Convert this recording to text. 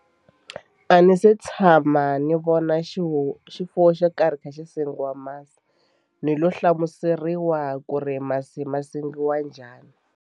A ni se tshama ni vona xi ho xifuwo xo karhi kha xi sengiwa masi ni lo hlamuseriwa ku ri masi ma sengiwa njhani.